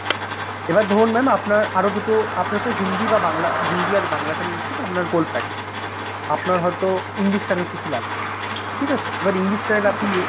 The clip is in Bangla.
এবার ধরুন Mam আপনার আরো দুটো, আপনার তো হিন্দি বা বাংলা, হিন্দি আর বাংলাটা নিচ্ছেন, আপনার gold package আপনার হয়তো English channel কিছু লাগবে ঠিক আছে? এবার English channel আপনি new